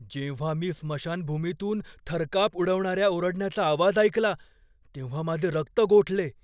जेव्हा मी स्मशानभूमीतून थरकाप उडवणाऱ्या ओरडण्याचा आवाज ऐकला तेव्हा माझे रक्त गोठले.